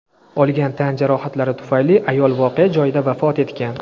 Olgan tan jarohatlari tufayli ayol voqea joyida vafot etgan.